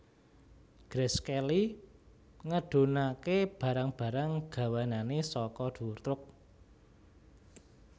Grace Kelly ngedhunake barang barang gawanane saka dhuwur truk